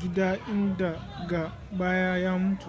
gida inda daga baya ya mutu